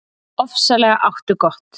Ofsalega áttu gott.